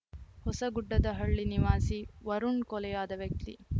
ಹೊಸಗುಡ್ಡದಹಳ್ಳಿ ನಿವಾಸಿ ವರುಣ್‌ ಕೊಲೆಯಾದ ವ್ಯಕ್ತಿ